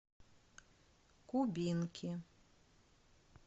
кубинки